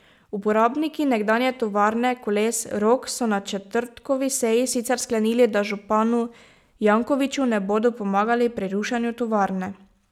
Uporabniki nekdanje tovarne koles Rog so na četrtkovi seji sicer sklenili, da županu Jankoviću ne bodo pomagali pri rušenju tovarne.